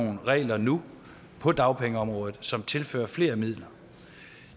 nogle regler nu på dagpengeområdet som tilfører flere midler